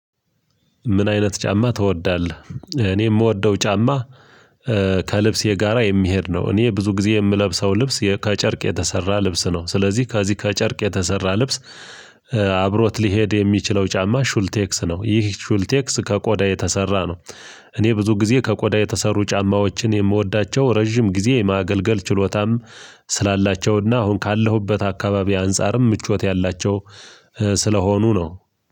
ምን አይነት ጫማ ትወዳለህ? እኔ እምወደው ጫማ ከልብሴ ጋራ የሚሄድ ነው። እኔ ብዙ ጊዜ የምለብሰው ልብስ ከጨርቅ የተሰራ ልብስ ነው። ስለዚህ ከዚህ ከጨርቅ የተሰራ ልብስ አብሮት ሊሄድ የሚችለው ጫማ ሹልቴክስ ነው። ይህ ሹልቴክስ ከቆዳ የተሰራ ነው። እኔ ብዙ ጊዜ ከቆዳ የተሰሩ ጫማዎችን የምወዳቸው ረጅም ጊዜ ማገልገል ችሎታም። ስላላቸውና አሁን ካለሁበት አካባቢ አንፃርም ምቾት ያላቸው ስለሆኑ ነው።